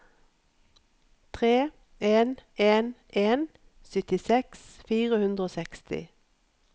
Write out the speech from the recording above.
tre en en en syttiseks fire hundre og seksti